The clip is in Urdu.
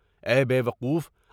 اے بے وقوف!